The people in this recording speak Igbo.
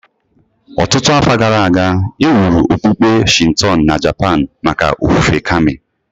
Ọtụtụ afọ gara aga, e wuru okpukpe Shinto na Japan maka ofufe Kami